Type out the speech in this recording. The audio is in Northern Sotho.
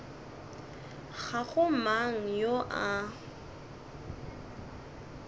ga go mang yo a